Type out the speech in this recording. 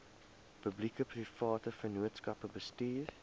publiekeprivate vennootskappe bestuur